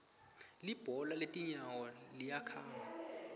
libhola letinyawo liyakhanga